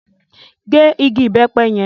Gé igi ìbẹ́pẹ yẹn!